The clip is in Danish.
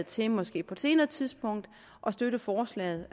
til måske på et senere tidspunkt at støtte forslaget